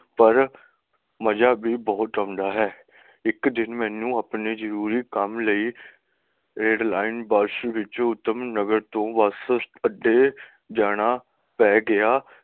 ਪਰ ਮਜ਼ਾ ਬੀ ਬਹੁਤ ਆਉਂਦਾ ਹੈ ਇਕ ਦਿਨ ਮੈਨੂੰ ਅਪਣੇ ਜਰੂਰੀ ਕੰਮ ਲਈ ਐਰਡਲੀਨੇ ਬੱਸ ਵਿੱਚੋ ਉਤਮੀ ਨਗਰ ਤੋਂ ਬੱਸ ਆਡੇ ਜਾਣਾ ਪੈ ਗਿਆ.